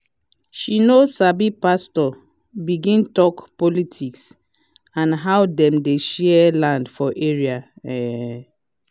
she no sabi pastor begin talk politics and how dem dey share land for area um